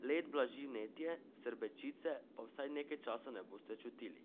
Led blaži vnetje, srbečice pa vsaj nekaj časa ne boste čutili.